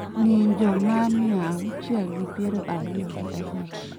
ng�injo ma mia auchiel gi piero ariyo gi abich